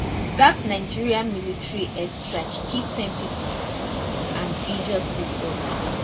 dat nigerian military airstrike kill ten pipo and and injure six odas